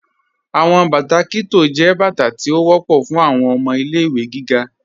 Awọn bátà Kitto jẹ́ bátà tí ó wọ̀pọ̀ fún awọn ọmọ ilẹ̀-ìwé gígá.